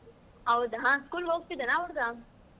ಹೌದಾ school ಹೋಗ್ತಾ ಇದ್ದಾನ ಆ ಹುಡ್ಗ?